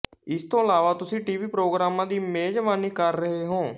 ਇਸ ਤੋਂ ਇਲਾਵਾ ਤੁਸੀਂ ਟੀਵੀ ਪ੍ਰੋਗਰਾਮਾਂ ਦੀ ਮੇਜ਼ਬਾਨੀ ਕਰ ਰਹੇ ਹੋ